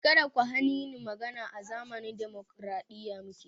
Kada ku hani ni magana! A zamanin dimokraɗiya muke